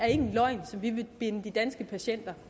en løgn som vi vil binde de danske patienter